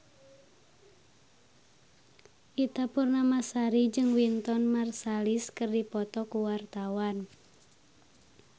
Ita Purnamasari jeung Wynton Marsalis keur dipoto ku wartawan